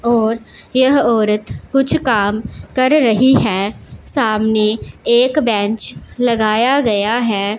और यह औरत कुछ काम कर रही हैं सामने एक बेंच लगाया गया है।